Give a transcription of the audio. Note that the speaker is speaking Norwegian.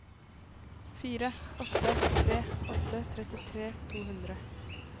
fire åtte tre åtte trettitre to hundre